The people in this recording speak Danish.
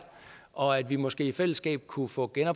og at vi måske i fællesskab kunne få